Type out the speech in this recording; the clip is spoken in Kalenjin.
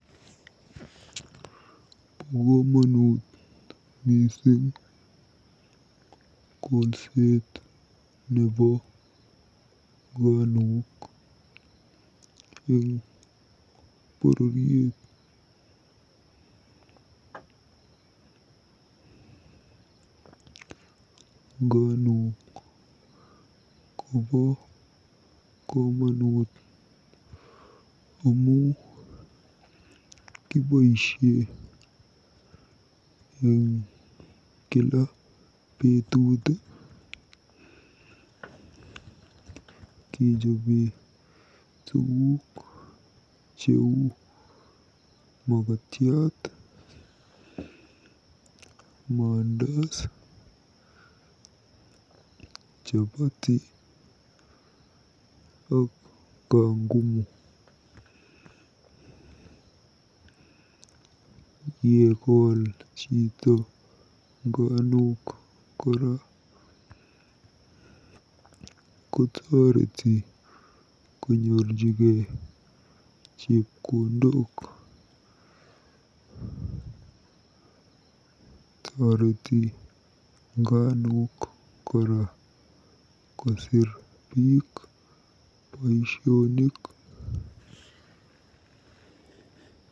Bo komonut kolset nebo nganuk eng bororiet. Nganuk kobo komonut amu kiboisie eng kila betut kejobe tuguk cheu makatiat, mandas, chapati ak kangumu. Yekool chito nganuk kotoreti konyorjigei chepkondok. Toreti nganuk kora kosiir biik boisionik.